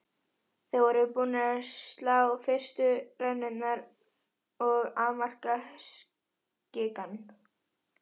Þeir voru búnir að slá fyrstu rennurnar og afmarka skikann.